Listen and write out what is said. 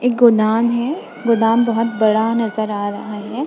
एक गोदाम है गोदाम बहुत बड़ा नजर आ रहा है।